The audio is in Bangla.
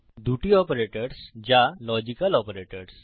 দুটি অপারেটরস যা লজিক্যাল অপারেটরস